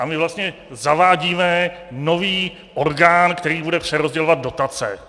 A my vlastně zavádíme nový orgán, který bude přerozdělovat dotace.